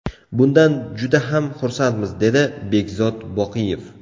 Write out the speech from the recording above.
Bundan juda ham xursandmiz”, dedi Bekzod Boqiyev.